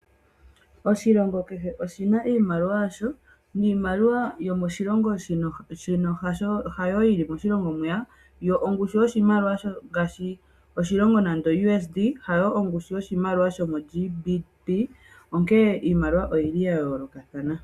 Oshilongo kehe oshina iimaliwa yasho niimaliwa yomoshilongo shino hayo yili moshilongo mwiya . Ongushu yoshimaliwa ngaashi oshilongo nando oU.S.D hayo ongushu yoshimaliwa sho moG.B.P onkene iimaliwa oyili yayoolokathana.